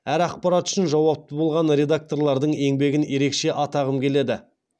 әр ақпарат үшін жауапты болған редакторлардың еңбегін ерекше атағым келеді